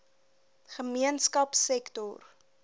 gemeenskapsektor